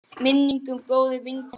Minning um góða vinkonu lifir.